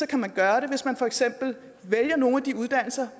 kan gøre det hvis man for eksempel vælger nogle af de uddannelser